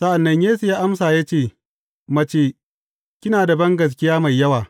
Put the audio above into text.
Sa’an nan Yesu ya amsa ya ce, Mace, kina da bangaskiya mai yawa!